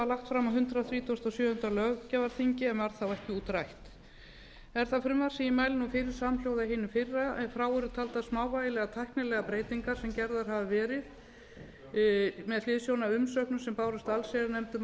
lagt fram á hundrað þrítugasta og sjöunda löggjafarþingi en varð þá ekki útrætt er það frumvarp sem ég mæli nú fyrir samhljóða hinu fyrra ef frá eru taldar smávægilegar tæknilegar breytingar sem gerðar hafa verið með hliðsjón af umsögnum sem bárust allsherjarnefnd um